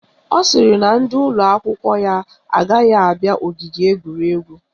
Ọ sịrị na ndị ụlọakwụkwọ ya agaghị abịa ogige egwuregwu